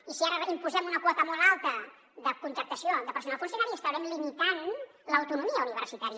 i si ara imposem una quota molt alta de contractació de personal funcionari estarem limitant l’autonomia universitària